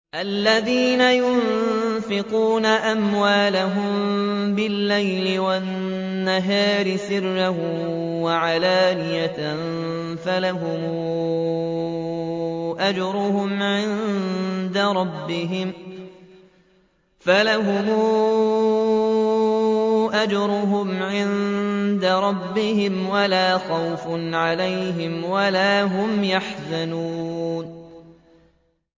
الَّذِينَ يُنفِقُونَ أَمْوَالَهُم بِاللَّيْلِ وَالنَّهَارِ سِرًّا وَعَلَانِيَةً فَلَهُمْ أَجْرُهُمْ عِندَ رَبِّهِمْ وَلَا خَوْفٌ عَلَيْهِمْ وَلَا هُمْ يَحْزَنُونَ